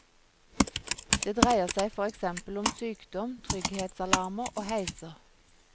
Det dreier seg for eksempel om sykdom, trygghetsalarmer og heiser.